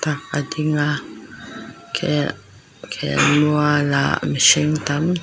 a ding a khel khelmual ah mihring tam--